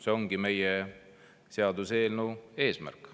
See ongi meie seaduseelnõu eesmärk.